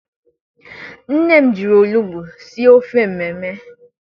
Nne m jiri olugbu sie ofe mmemme.